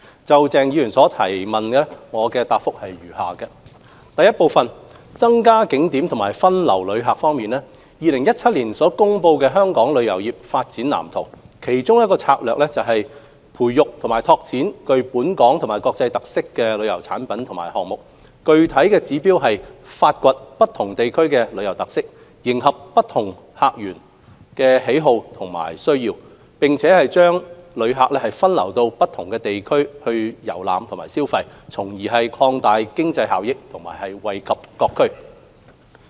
就鄭松泰議員的質詢，我答覆如下：一增加景點和分流旅客方面 ，2017 年公布的《香港旅遊業發展藍圖》，其中一個策略是培育及拓展具本港及國際特色的旅遊產品及項目，具體指標是發掘不同地區的旅遊特色，迎合不同客群的需要和喜好，並將旅客分流到不同地區遊覽和消費，從而擴大經濟收益和惠及各區。